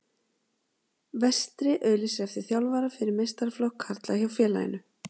Vestri auglýsir eftir þjálfara fyrir meistaraflokk karla hjá félaginu.